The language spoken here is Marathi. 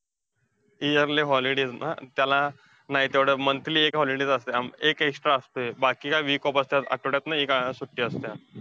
Yearly holidays ना? त्याला नाही तेवढं monthly एक holidays असतंय. आम~ एक extra असतंय, बाकी ना week off असत्यात. आठ्वड्यातनं एक सुट्टी असतीया.